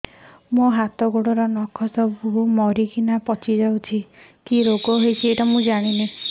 ମୋ ହାତ ଗୋଡର ନଖ ସବୁ ମରିକିନା ପଚି ଯାଉଛି